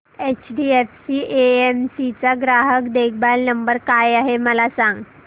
HDFC AMC चा ग्राहक देखभाल नंबर काय आहे मला सांग